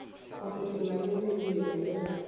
go kitima le mebila le